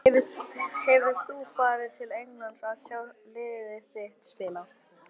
Hefur þú farið til Englands að sjá lið þitt spila?